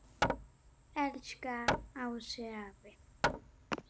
Elsku Ási afi.